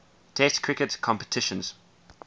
test cricket competitions